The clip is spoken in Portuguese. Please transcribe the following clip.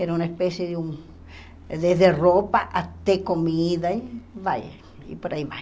Era uma espécie de um desde roupa até comida e vai e por aí vai.